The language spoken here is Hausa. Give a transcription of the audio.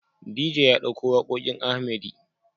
DJ ya ɗauko waƙoƙin Arhmedy.